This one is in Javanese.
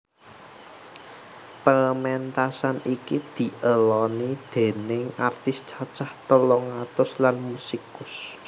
Pementasan iki dieloni déning artis cacah telung atus lan musikus